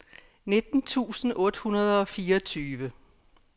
nitten tusind otte hundrede og fireogtyve